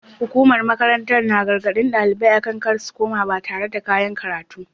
Hukumar makarantar ta gargaɗi ɗalibai akan kar su kuma ɓatar da kayan koya karatu.